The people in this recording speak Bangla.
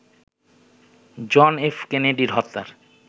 জন এফ কেনেডি হত্যার